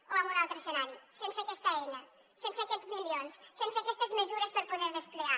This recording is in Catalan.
o amb un altre escenari sense aquesta eina sense aquests milions sense aquestes mesures per poder desplegar